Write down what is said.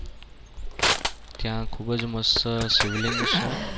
ત્યાં ખૂબ જ મસ્ત શિવલિંગ છે.